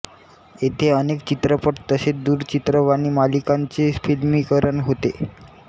येथे अनेक चित्रपट तसेच दूरचित्रवाणी मालिकांचे फिल्मीकरण होते